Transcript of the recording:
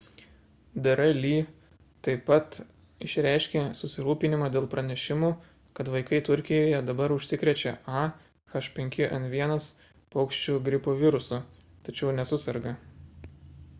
dr. lee taip pat išreiškė susirūpinimą dėl pranešimų kad vaikai turkijoje dabar užsikrečia a h5n1 paukščių gripo virusu tačiau nesuserga